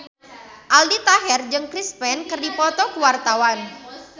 Aldi Taher jeung Chris Pane keur dipoto ku wartawan